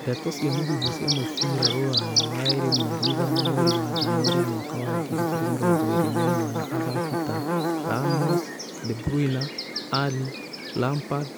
Ndeto cia mũhuhu cia mũbira Rũraya waĩrĩ mweri ithano mweri wa Januarĩ mwaka wa ngiri igĩrĩ mĩrongo ĩrĩ na ĩmwe na athaki ta Ramos, De Bruyne, Alli, Lampard,